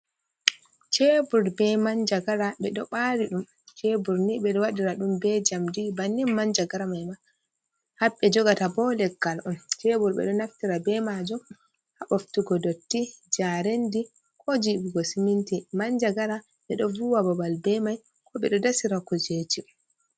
Cebur be manjagara ɓe ɗo ɓari ɗum. Ceburni ɓeɗo waɗira ɗum be njamdi, bannin manjagara mai ma. Haɓe jogata bo leggal on. Cebur ɓe ɗo naftira be majum ha boftugo dotti, njarendi ko jiɓugo siminti. Manjagara ɓe ɗo vuwa babal be mai ko ɓe ɗo dasira kujeji.